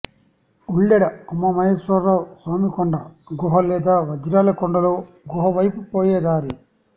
ఉల్లెడ ఉమామహేశ్వర స్వామి కొండ గుహ లేదా వజ్రాల కొండలో గుహ వైపు పోయే దారి